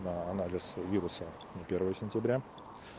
на анализ вируса на первое сентября